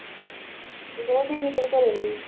ਉਹ ਦਿੱਲੀ ਕੀ ਕਰਨ ਗਈ ਸੀ